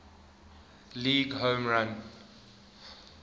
league home run